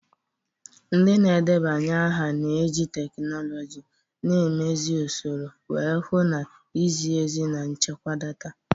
Ndị na-edeba aha na-eji teknụzụ, na-emezi usoro, wee hụ na izi ezi na nchekwa data.